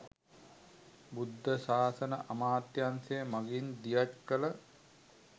බුද්ධ ශාසන අමාත්‍යංශය මඟින් දියත් කළ